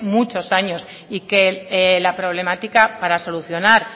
muchos años y que la problemática para solucionar